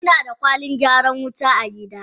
Muna da Kwalin gyaran wuta a gida.